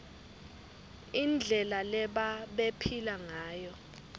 indlela lebabephila ngayo